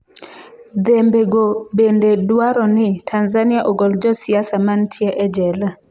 "Dhembe go bende dwaro ni ""Tanzania ogol josiasa mantie e jela."""